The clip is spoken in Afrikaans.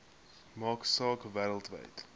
maak saak wêreldwyd